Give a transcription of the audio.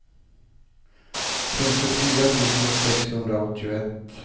femtiofyra tusen sexhundraåttioett